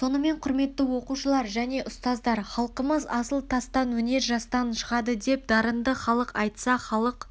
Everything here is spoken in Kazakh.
сонымен құрметті оқушылар және ұстаздар халқымыз асыл тастан өнер жастан шығады деп дарынды халық айтса халық